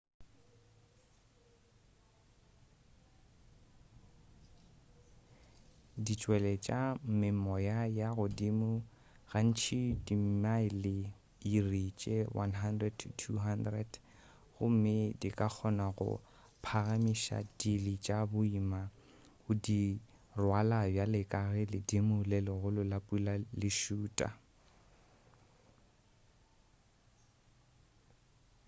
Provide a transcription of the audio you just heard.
di tšweletša memoya ya godimo gantši dimile/iri tše 100-200 gomme di ka kgona go phagamiša dili tša boima go di rwala bjale ka ge ledimo le legolo la pula le šuta